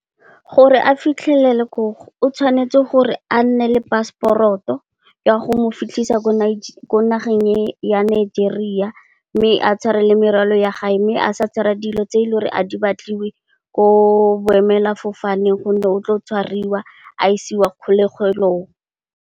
Gore a fitlhelele koo, o tshwanetse gore a nne le paseporoto ya go mo fitlhisa ko nageng ya Nigeria mme, a tshware le morwalo ya gage mme, a sa tshwara dilo tse e leng gore a di batliwe ko boemela fofane gonne, o tlo tshwariwa a isiwa kgologelong.